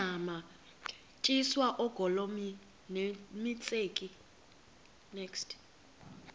tyiswa oogolomi nemitseke